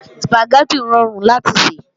Sùpàgẹ́tì rọrùn láti sè